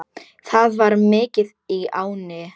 Það var mikið í ánni.